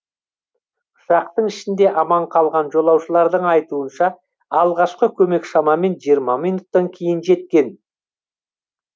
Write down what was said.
ұшақтың ішінде аман қалған жолаушылардың айтуынша алғашқы көмек шамамен жиырма минуттан кейін жеткен